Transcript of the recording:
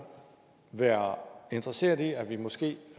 være interesseret i at vi måske